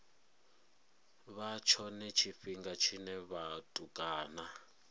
vha tshone tshifhinga tshine vhatukana